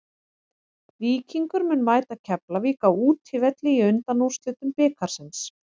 Víkingur mun mæta Keflavík á útivelli í undanúrslitum bikarsins.